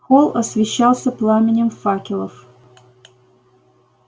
холл освещался пламенем факелов